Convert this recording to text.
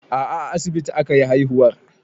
A'a a asibiti akayi haihuwar